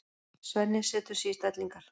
Svenni setur sig í stellingar.